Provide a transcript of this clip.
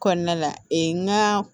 Kɔnɔna la ee n ka